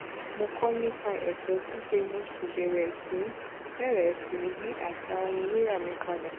mo kó nipa eso sise mo sì bèrè sí í bèrè sí í yí asa ohun rira mi padà